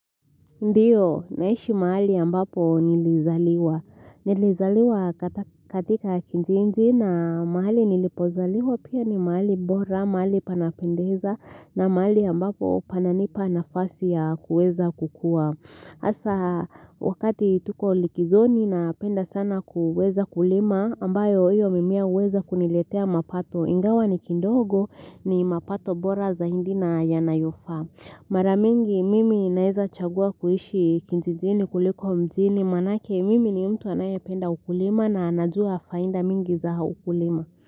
Ndio naishi mahali ambapo nilizaliwa Nilizaliwa katika kijiji na mahali nilipozaliwa pia ni mahali bora mahali panapendeza na mahali ambapo pananipa nafasi ya kuweza kukua Asa wakati tuko likizoni napenda sana kuweza kulima ambayo hiyo mimea huweza kuniletea mapato Ingawa ni kidogo ni mapato bora zaindi na yanayofaa Maramingi mimi naeza chagua kuishi kijijini kuliko mjini maanake mimi ni mtu anayependa ukulima na anajua fainda mingi za ukulima.